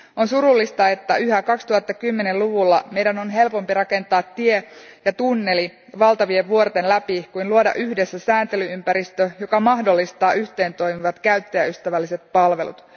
On surullista, että yhä 2010 luvulla meidän on helpompi rakentaa tie ja tunneli valtavien vuorten läpi kuin luoda yhdessä sääntely ympäristö, joka mahdollistaa yhteentoimivat käyttäjäystävälliset palvelut.